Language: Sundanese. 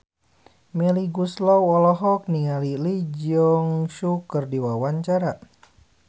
Melly Goeslaw olohok ningali Lee Jeong Suk keur diwawancara